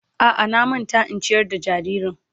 A'a na manta in ciyar da jaririn.